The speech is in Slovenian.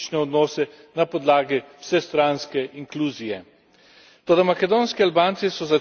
Toda makedonski Albanci so za ceno konstruktivne drže zahtevali hitrejše evropske integracije.